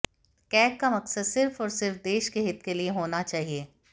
CAG का मकसद सिर्फ और सिर्फ देश के हित के लिए होना चाहिए